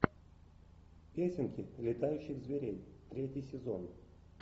песенки летающих зверей третий сезон